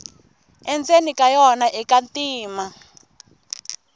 endzeni ka yona ika ntima